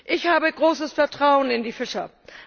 Ich habe großes Vertrauen in die Fischer.